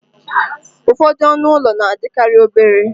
ụfọdụ ọnụ ụlọ na-adịkarị obere